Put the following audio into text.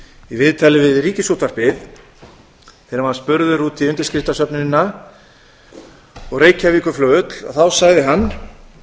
viðtali við ríkisútvarpið þegar hann var spurður út í undirskriftasöfnunina og reykjavíkurflugvöll þá sagði hann